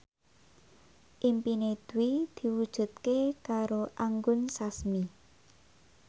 impine Dwi diwujudke karo Anggun Sasmi